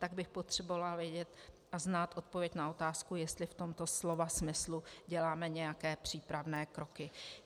Tak bych potřebovala vědět a znát odpověď na otázku, jestli v tomto slova smyslu děláme nějaké přípravné kroky.